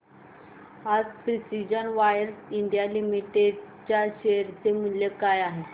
आज precision wires India limited च्या share चे मूल्य काय आहे